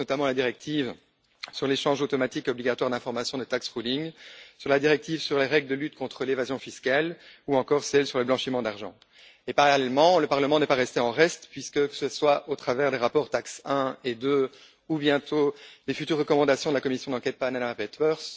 Je pense, notamment, à la directive sur l'échange automatique obligatoire d'informations sur les rescrits fiscaux, à la directive sur les règles de lutte contre l'évasion fiscale ou encore à celle sur le blanchiment d'argent. Parallèlement, le Parlement n'est pas demeuré en reste puisque, que ce soit au travers des rapports TAXE 1 et 2 ou, bientôt, des futures recommandations de la commission d'enquête sur les Panama papers